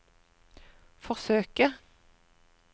forsøke